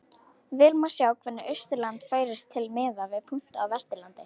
Vel má sjá hvernig Austurland færist til miðað við punkta á Vesturlandi.